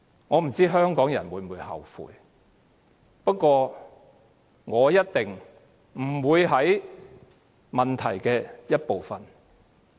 我不知道香港人會否後悔，不過，我一定不會是造成問題的一部分。